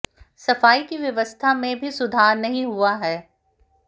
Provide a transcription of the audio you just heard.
सफाई की व्यवस्था में भी सुधार नहीं हुआ है